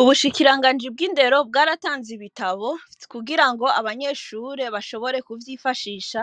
Ubushikirangaji bw indero bwaratanze ibitabo kugirango abanyeshure bashobore kuvyifashisha